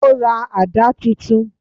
O ra àdá titun